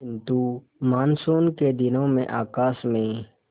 किंतु मानसून के दिनों में आकाश में